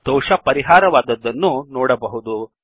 ದೋಷ ಪರಿಹಾರವಾದದ್ದನ್ನು ನೋಡಬಹುದು